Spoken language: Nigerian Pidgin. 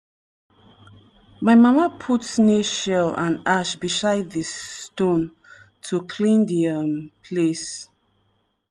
my mama put snail shell and ash beside di um stone to clean di um place.